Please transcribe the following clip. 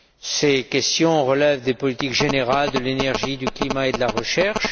Ces questions relèvent des politiques générales de l'énergie, du climat et de la recherche.